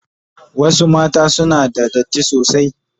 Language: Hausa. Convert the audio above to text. Wasu mata sim una da datti sosai.